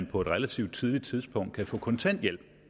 på et relativt tidligt tidspunkt kan få kontanthjælp